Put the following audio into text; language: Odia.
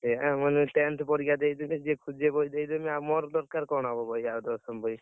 ଏୟା ମୁଁ କହିଲି tenth ପରୀକ୍ଷା ଦେଇଥିଲି, ଯିଏ ଖୋଜିବ ବହି ଦେଇଦେବି। ଆଉ ମୋର ଦରକାର କଣ ହବ ବହି ଆଉ ଦଶମ ବହି।